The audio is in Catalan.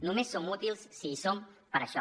només som útils si hi som per això